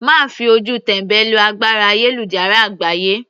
Má fi ojú tẹ́mbẹ́lú agbára ayélujára àgbáyé.